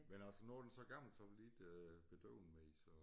Men altså nu den så gammel så vil de ikke bedøve den mere så